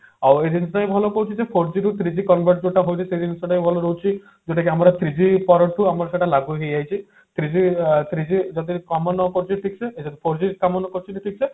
ଆଉ ଯେମତି ଭଲ କହୁଛି ଯେ four G ରୁ three G convert ଯୋଉଟା ହଉଛି ସେ ଜିନିଷ ଟା ଭଲ ରହୁଛି ଯୋଉଟା କି ଆମର three G ପରଠୁ ଆମର ସେଇଟା ଲାଗୁ ହେଇ ଯାଇଛି three G three G ଯୋଉଟା କି କାମ ନ କରୁଛି ଠିକ ସେ ଏ ଯଦି four G କାମ ନ କରୁଛି ଠିକସେ